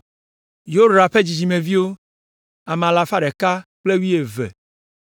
Yorah ƒe dzidzimeviwo, ame alafa ɖeka kple wuieve (112).